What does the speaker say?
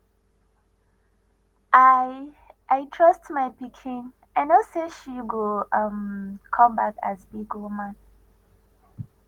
i i trust my pikin i no say she go um come back as big woman